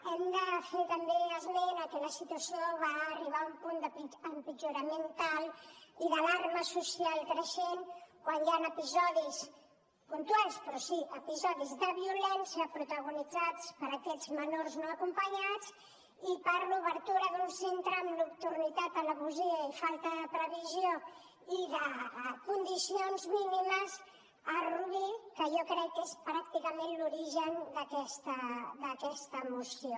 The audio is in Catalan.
hem de fer també esment de que la situació va arribar a un punt d’empitjorament tal i d’alarma social creixent quan hi van haver episodis puntuals però sí episodis de violència protagonitzats per aquests menors no acompanyats i per l’obertura d’un centre amb nocturnitat traïdoria i falta de previsió i de condicions mínimes a rubí que jo crec que és pràcticament l’origen d’aquesta moció